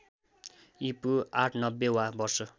ईपू ८९० वा वर्ष